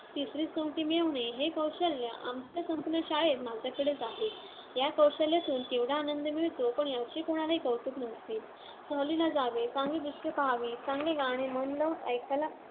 तिसरीच सोंगटी मिळवणे हे कौशल्य आमच्या संपूर्ण शाळेत माझ्याकडेच आहे. या कौशल्यातून केवढा आनंद मिळतो, पण याचे कोणालाही कौतुक नसते. सहलीला जावे. चांगली दृश्ये पाहावीत. चांगले गाणे मन लावून ऐकायला